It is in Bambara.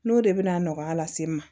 N'o de bɛ na nɔgɔya lase n ma